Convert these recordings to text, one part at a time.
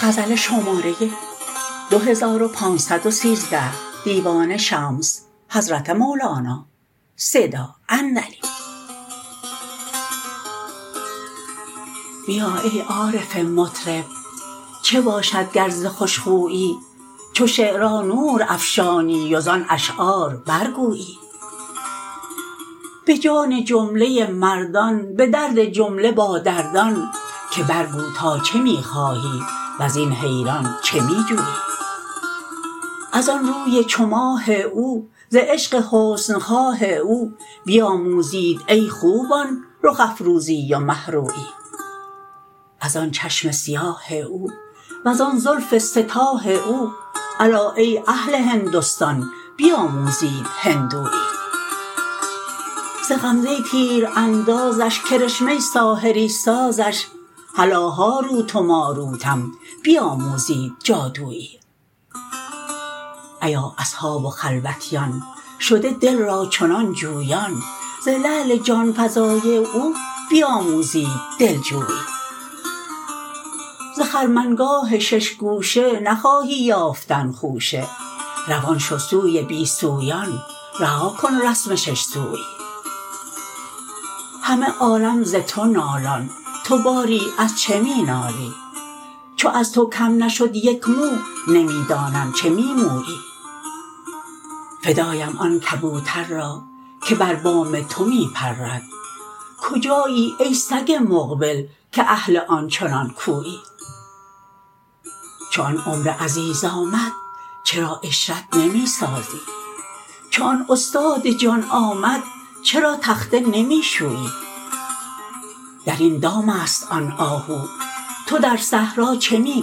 بیا ای عارف مطرب چه باشد گر ز خوش خویی چو شعری نور افشانی و زان اشعار برگویی به جان جمله مردان به درد جمله بادردان که برگو تا چه می خواهی و زین حیران چه می جویی از آن روی چو ماه او ز عشق حسن خواه او بیاموزید ای خوبان رخ افروزی و مه رویی از آن چشم سیاه او وزان زلف سه تاه او الا ای اهل هندستان بیاموزید هندویی ز غمزه تیراندازش کرشمه ساحری سازش هلا هاروت و ماروتم بیاموزید جادویی ایا اصحاب و خلوتیان شده دل را چنان جویان ز لعل جان فزای او بیاموزید دلجویی ز خرمنگاه شش گوشه نخواهی یافتن خوشه روان شو سوی بی سویان رها کن رسم شش سویی همه عالم ز تو نالان تو باری از چه می نالی چو از تو کم نشد یک مو نمی دانم چه می مویی فدایم آن کبوتر را که بر بام تو می پرد کجایی ای سگ مقبل که اهل آن چنان کویی چو آن عمر عزیز آمد چرا عشرت نمی سازی چو آن استاد جان آمد چرا تخته نمی شویی در این دام است آن آهو تو در صحرا چه می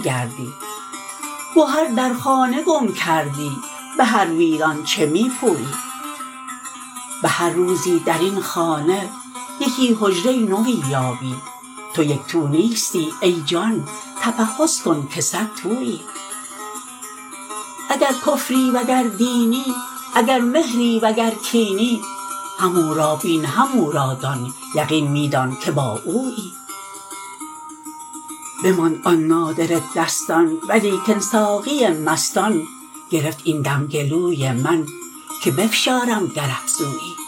گردی گهر در خانه گم کردی به هر ویران چه می پویی به هر روزی در این خانه یکی حجره نوی یابی تو یک تو نیستی ای جان تفحص کن که صدتویی اگر کفری و گر دینی اگر مهری و گر کینی همو را بین همو را دان یقین می دان که با اویی بماند آن نادره دستان ولیکن ساقی مستان گرفت این دم گلوی من که بفشارم گر افزویی